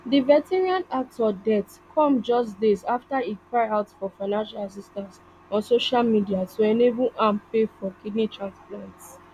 di veteran actor death come just days afta e cry out for financial assistance on social media to enable am pay for kidney transplant